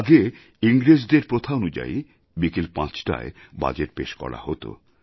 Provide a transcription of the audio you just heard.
আগে ইংরেজদের প্রথানুযায়ী বিকেল পাঁচটায় বাজেট পেশ করা হত